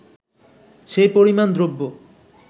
সেই পরিমাণ দ্রব্য